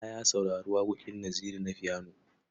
Bala ya saurari waƙoƙin Naziru na fiyano.